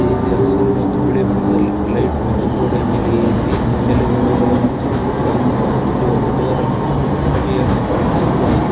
ಇಲ್ಲಿ ಹಸಿರು ಮತ್ತು ಬಿಳಿ ಬಣ್ಣದಲ್ಲಿ ಲೈಟ್ ಮತ್ತು ಗೋಡೆ ಮೇಲೆ ಎ_ಸಿ ತಲೆ ದಿಂಬುಗಳು ಮತ್ತು ಅ ಇಲ್ಲಿ ಒಂದು ಡೋರನ್ನು ಮತ್ತು ಕಿಟಕಿಯನ್ನು ಕಾಣಬಹುದಾಗಿದೆ.